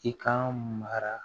I kan magara